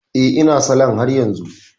Eh, ina salon haryanzu